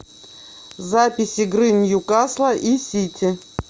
запись игры ньюкасла и сити